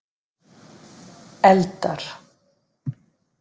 Eldar